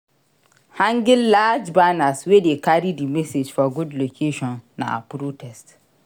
Hanging large banners wey de carry di message for good location na protests